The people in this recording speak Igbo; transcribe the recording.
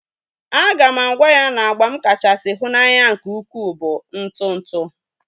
A ga m agwa ya na agba m kachasị hu n'anya nke ukwu bụ ntụ ntụ